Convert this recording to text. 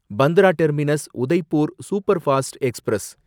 Bandra terminus Udaipur superfast express